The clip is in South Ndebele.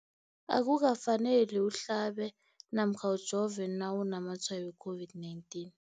Akuka faneli uhlabe namkha ujove nawu namatshayo we-COVID-19.